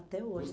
Até hoje.